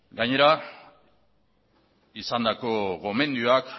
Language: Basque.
gainera izandako gomendioak